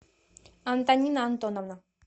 антонина антоновна